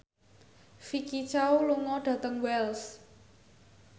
Vicki Zao lunga dhateng Wells